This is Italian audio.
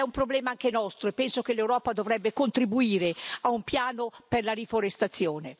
È un problema anche nostro e penso che l'Europa dovrebbe contribuire a un piano per la riforestazione.